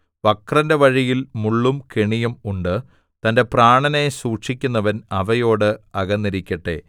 വക്രന്റെ വഴിയിൽ മുള്ളും കെണിയും ഉണ്ട് തന്റെ പ്രാണനെ സൂക്ഷിക്കുന്നവൻ അവയോട് അകന്നിരിക്കട്ടെ